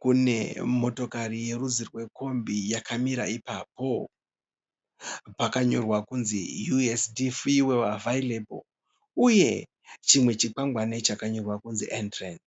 kune motokari yerudzi rwekombi yakamira ipapo. Pakanyorwa kunzi 'USD fuel available' uye chimwe chikwangwani chakanyorwa kuti 'Entrance'.